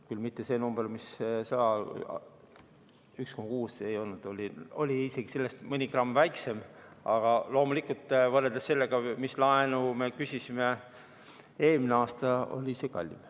Küll 1,6 ei olnud, oli isegi sellest mõni gramm väiksem, aga loomulikult, võrreldes sellega, mis laenu me küsisime ja mis oli eelmisel aastal, oli see kallim.